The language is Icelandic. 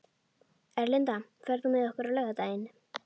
Erlinda, ferð þú með okkur á laugardaginn?